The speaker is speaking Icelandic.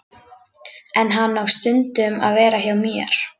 En hann á stundum að vera hjá mér.